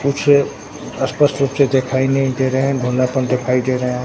कुछ स्पष्ट रूप से दिखाई नहीं दे रहे हैं धूंलापन दिखाई दे रहा है।